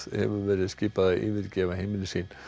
hefur verið skipað að yfirgefa heimili sín